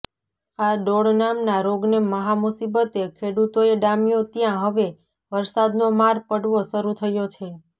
આ ડોળ નામના રોગને મહામુસીબતે ખેડુતોએ ડામ્યો ત્યાં હવે વરસાદનો માર પડવો શરૃ થયો છે